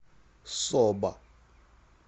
соба